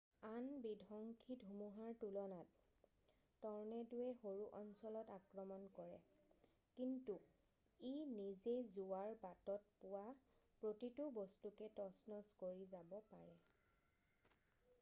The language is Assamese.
আন বিধংসী ধুমুহাৰ তুলনাত ট'ৰ্নেড'ৱে সৰু অঞ্চলত আক্ৰমণ কৰে কিন্তু ই নিজে যোৱাৰ বাটত পোৱা প্ৰতিটো বস্তুকে তচনচ কৰি যাব পাৰে